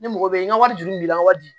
Ne mago bɛ n ka wari juru b'i la wa bi